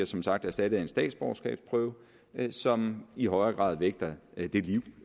som sagt erstattet af en statsborgerskabsprøve som i højere grad vægter det liv